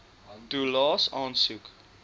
toelaes aansoek